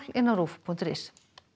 á ruv punktur is